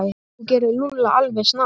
Þú gerir Lúlla alveg snar,